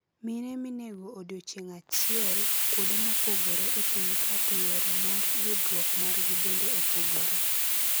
mine minego odiochieng ahiel kuonde mopogore e pinyka to yore mar yudrok margi bende opogore.